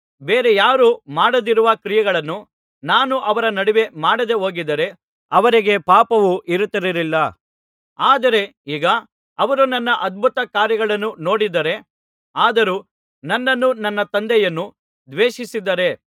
ಬೇರೆ ಯಾರೂ ಮಾಡದಿರುವ ಕ್ರಿಯೆಗಳನ್ನು ನಾನು ಅವರ ನಡುವೆ ಮಾಡದೆಹೋಗಿದ್ದರೆ ಅವರಿಗೆ ಪಾಪವು ಇರುತ್ತಿರಲಿಲ್ಲ ಆದರೆ ಈಗ ಅವರು ನನ್ನ ಅದ್ಭುತಕಾರ್ಯಗಳನ್ನು ನೋಡಿದ್ದಾರೆ ಆದರೂ ನನ್ನನ್ನೂ ನನ್ನ ತಂದೆಯನ್ನೂ ದ್ವೇಷಿಸಿದ್ದಾರೆ